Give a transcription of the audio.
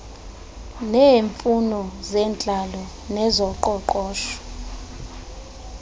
neemfuno zentlalo nezoqoqosho